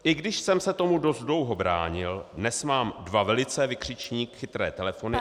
I když jsem se tomu dost dlouho bránil, dnes mám dva velice - vykřičník - chytré telefony...